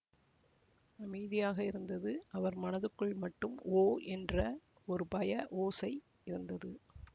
அமைதியாக இருந்தது அவர் மனத்துக்குள் மட்டும் ஓ என்ற ஒரு பய ஓசை இருந்தது